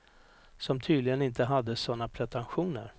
Som tydligen inte hade såna pretentioner.